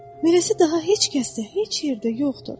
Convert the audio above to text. Beləsi daha heç kəsdə, heç yerdə yoxdur.